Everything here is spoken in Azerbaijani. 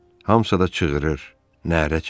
Hamısı da çığırır, nərə çəkir.